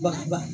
Ba ba ba